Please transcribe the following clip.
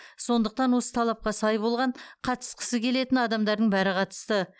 сондықтан осы талапқа сай болған қатысқысы келетін адамдардың бәрі қатысты